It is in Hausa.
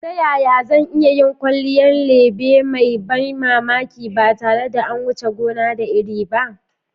Ta yaya zan iya yin kwalliyar lebe mai ban mamaki ba tare da an wuce gona da iri ba?